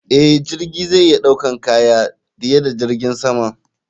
Eh, jirgi zai iya ɗaukan kaya diye da jirgin sama.